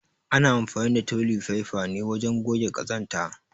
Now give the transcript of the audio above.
ana anfani da toli faifa ne wajen goge ƙazanta.